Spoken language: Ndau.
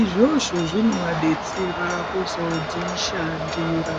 izvozvo zvinovabetsera kuzozvishandira.